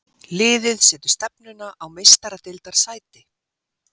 Liðið setur stefnuna á Meistaradeildarsæti.